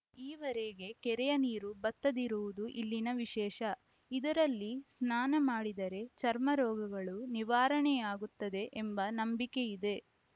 ಈವರೆಗೆ ಕೆರೆಯ ನೀರು ಬತ್ತದಿರುವುದು ಇಲ್ಲಿನ ವಿಶೇಷ ಇದರಲ್ಲಿ ಸ್ನಾನ ಮಾಡಿದರೆ ಚರ್ಮರೋಗಗಳು ನಿವಾರಣೆಯಾಗುತ್ತದೆ ಎಂಬ ನಂಬಿಕೆ ಇದೆ